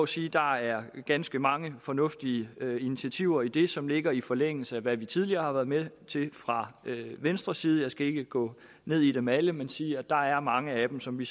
sige at der er ganske mange fornuftige initiativer i det som ligger i forlængelse af hvad vi tidligere har været med til fra venstres side jeg skal ikke gå ned i dem alle sammen men sige at der er mange af dem som vi